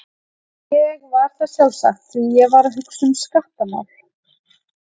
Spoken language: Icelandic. Ég var það sjálfsagt, því ég var að hugsa um skattamál.